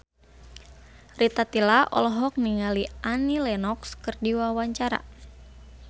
Rita Tila olohok ningali Annie Lenox keur diwawancara